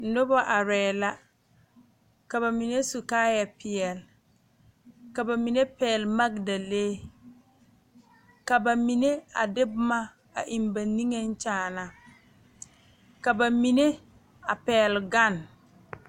nobɔ arɛɛ la ka ba mine su kaayɛ peɛle ka ba mine pɛgle magdalee ka ba mine a de boma a eŋ ba niŋeŋ kyaana ka ba mine a pɛgle gane.